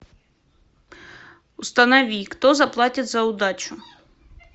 установи кто заплатит за удачу